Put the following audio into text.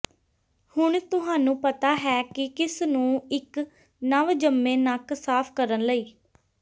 ਹੁਣ ਤੁਹਾਨੂੰ ਪਤਾ ਹੈ ਕਿ ਕਿਸ ਨੂੰ ਇੱਕ ਨਵਜੰਮੇ ਨੱਕ ਸਾਫ਼ ਕਰਨ ਲਈ